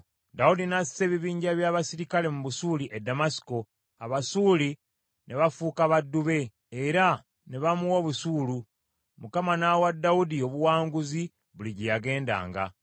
Dawudi n’assa ebibinja eby’abaserikale mu Busuuli e Ddamasiko, Abasuuli ne bafuuka baddu be, era ne bamuwanga obusuulu. Mukama n’awa Dawudi obuwanguzi buli gye yagendanga.